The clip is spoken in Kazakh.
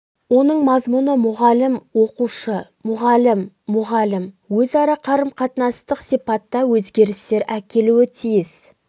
оның мазмұны мұғалім оқушы мұғалім мұғалім өзара қарым қатынастық сипатта өзгерістер әкелуі тиіс